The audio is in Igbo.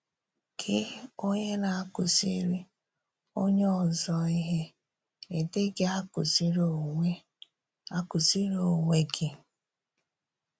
“Gị́ onye na-akùzìrì onye òzò íhè, ị́ dịghị̀ akùzìrì onwe akùzìrì onwe gị?”